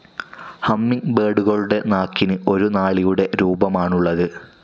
ഹമ്മിങ്ബേർഡുകളുടെ നാക്കിനു ഒരു നാളിയുടെ രൂപമാണുള്ളത്.